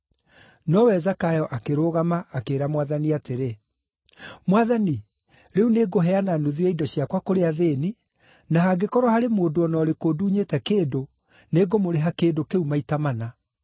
Nowe Zakayo akĩrũgama, akĩĩra Mwathani atĩrĩ, “Mwathani, rĩu nĩngũheana nuthu ya indo ciakwa kũrĩ athĩĩni, na hangĩkorwo harĩ mũndũ o na ũrĩkũ ndunyĩte kĩndũ, nĩngũmũrĩha kĩndũ kĩu maita mana.”